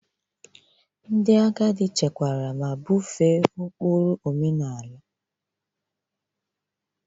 Ndị agadi chekwara ma bufee ụkpụrụ omenala.